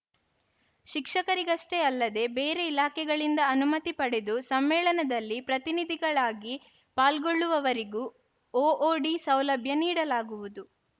ಶಿಕ್ಷಕರಿಗಷ್ಟೇ ಅಲ್ಲದೆ ಬೇರೆ ಇಲಾಖೆಗಳಿಂದ ಅನುಮತಿ ಪಡೆದು ಸಮ್ಮೇಳನದಲ್ಲಿ ಪ್ರತಿನಿಧಿಗಳಾಗಿ ಪಾಲ್ಗೊಳ್ಳುವವರಿಗೂ ಒಒಡಿ ಸೌಲಭ್ಯ ನೀಡಲಾಗುವುದು